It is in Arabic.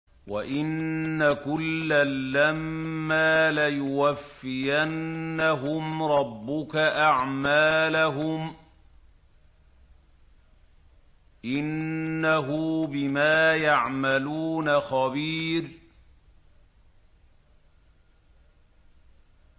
وَإِنَّ كُلًّا لَّمَّا لَيُوَفِّيَنَّهُمْ رَبُّكَ أَعْمَالَهُمْ ۚ إِنَّهُ بِمَا يَعْمَلُونَ خَبِيرٌ